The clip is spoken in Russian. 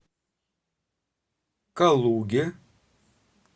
калуге